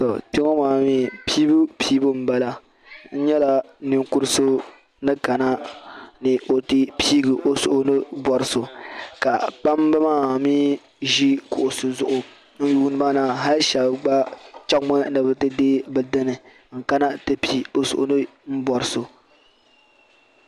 To kpeŋɔ maa mi piibu piibu n bala n nyɛla ninkurisɔ ni kana ni ɔti piigi ɔ suhu ni bɔri so. ka kpam bi maa mi ʒi kuɣisi zuɣu n yuuniba na hali shabi chaŋ mi nibitidee bi dini n ka na ti pii bɛ suhu ni bɔri so.